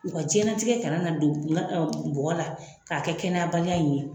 U ka jɛnnatigɛ kana na don nga ɔ bɔgɔ la k'a kɛ kɛnɛyabaliya in ye